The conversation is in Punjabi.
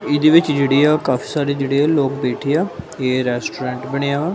ਇਹਦੇ ਵਿੱਚ ਜਿਹੜੀ ਆ ਉਹ ਕਾਫੀ ਸਾਰੇ ਜਿਹੜੇ ਲੋਕ ਬੈਠੇ ਆ ਏ ਰੈਸਟੋਰੈਂਟ ਬਣਿਆ ਵਾ।